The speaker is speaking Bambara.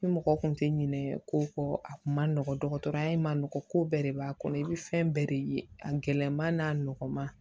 Ni mɔgɔ kun tɛ ɲinɛ ko kɔ a kun ma nɔgɔ dɔgɔtɔrɔya in ma nɔgɔn ko bɛɛ de b'a kɔnɔ i bɛ fɛn bɛɛ de ye a gɛlɛman n'a nɔgɔman